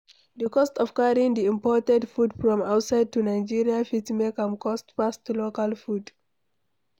Di cost of carrying di imported food from outside to Nigeria fit make am cost pass local food